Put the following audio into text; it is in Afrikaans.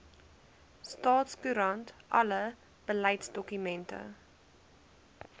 staatskoerant alle beleidsdokumente